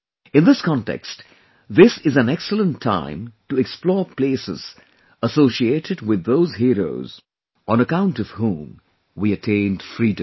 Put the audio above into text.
In this context, this is an excellent time to explore places associated with those heroes on account of whom we attained Freedom